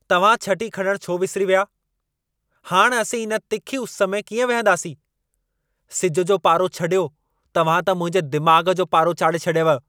तव्हां छटी खणणु छो विसिरी विया? हाणि असीं इन तिखी उस में कीअं विहंदासीं? सिज जो पारो छॾियो, तव्हां त मुंहिंजे दिमाग़ जो पारो चाढ़े छॾियव।